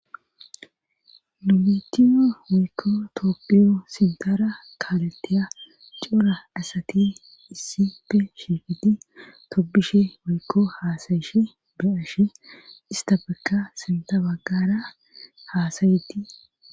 Numitiyo weykko toophiyo sintara kaaleteya cora asati issippe shiifiti toppishe weykko haasayishe beyashe ista bekka sinta baggara haasayiti.